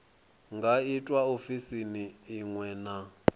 nga itwa ofisini iṅwe na